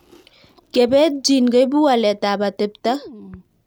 Kepet gene koipu walet ab atepto